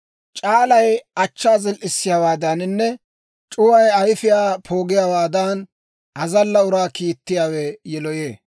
C'aalay achchaa zil"issiyaawaadaaninne c'uway ayifiyaa poogiyaawaadan, azalla uraa kiittiyaawe yiloyee.